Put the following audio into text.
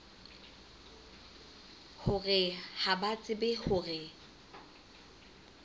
hore ha ba tsebe hore